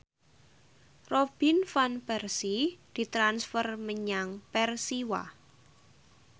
Robin Van Persie ditransfer menyang Persiwa